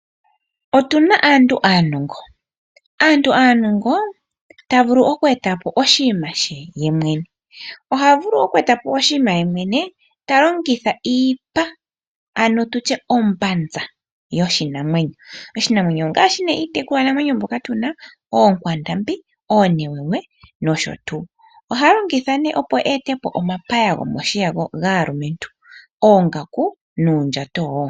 Otuna aantu aanongo taya vulu okweeta po oshinima shontumba yemwene ta longitha iipa ano ombanza yoshinamwenyo. Oshinanwenyo ongaashi neh iitekulwa namwenyo mbyoka tuna ookwandambi, oonewewe nosho tuu. Ohaya ndulukapo iinima ngaashi omapaya gomoshiya gaalumentu, oongaku noshowo uundjato.